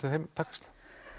þeim takast